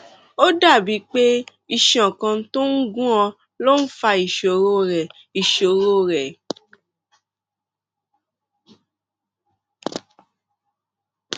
ó dàbíi pé iṣan kan tó ń gún ọ ló ń fa ìṣòro rẹ ìṣòro rẹ